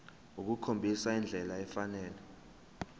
ukukhombisa indlela efanele